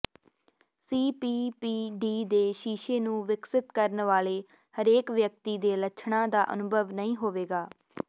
CPPD ਦੇ ਸ਼ੀਸ਼ੇ ਨੂੰ ਵਿਕਸਿਤ ਕਰਨ ਵਾਲੇ ਹਰੇਕ ਵਿਅਕਤੀ ਦੇ ਲੱਛਣਾਂ ਦਾ ਅਨੁਭਵ ਨਹੀਂ ਹੋਵੇਗਾ